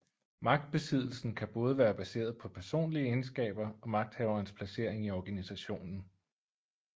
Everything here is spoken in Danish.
Magtbesiddelsen kan både være baseret på personlige egenskaber og magthaverens placering i organisationen